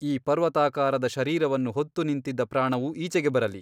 ಈ ಪರ್ವತಾಕಾರದ ಶರೀರವನ್ನು ಹೊತ್ತು ನಿಂತಿದ್ದ ಪ್ರಾಣವು ಈಚೆಗೆ ಬರಲಿ !